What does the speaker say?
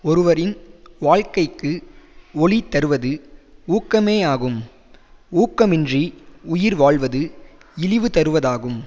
ஒருவரின் வாழ்க்கைக்கு ஒளிதருவது ஊக்கமேயாகும் ஊக்கமின்றி உயிர்வாழ்வது இழிவு தருவதாகும்